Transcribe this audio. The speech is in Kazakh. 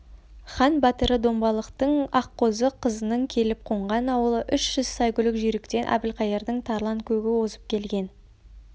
хан батыры домбалықтың аққозы қызының келіп қонған ауылы үш жүз сайгүлік жүйріктен әбілқайырдың тарланкөгі озып келген